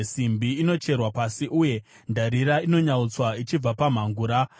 Simbi inocherwa pasi, uye ndarira inonyautswa ichibva pamhangura.